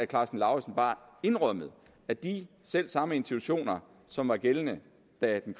karsten lauritzen bare indrømmede at de selv samme institutioner som var gældende da den